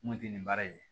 Mun tɛ nin baara in ye